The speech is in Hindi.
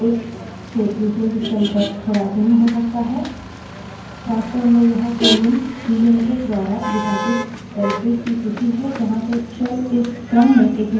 वास्तव में यह colon delimiter द्वारा विभाजित निर्देशिकाओं directories की सूची है जहाँ से shell इस क्रम में एक निष्पादन योग्य command की खोज करेंगा